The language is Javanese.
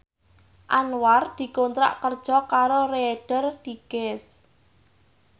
Anwar dikontrak kerja karo Reader Digest